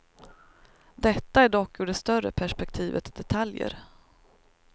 Detta är dock ur det större perspektivet detaljer.